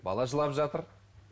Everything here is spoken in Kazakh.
бала жылап жатыр